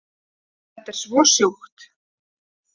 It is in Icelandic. Þetta er svo sjúkt